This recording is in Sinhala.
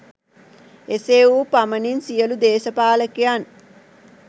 එසේ වූ පමණින් සියලු දේශපාලකයන්